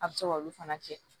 A bɛ se k'olu fana kɛ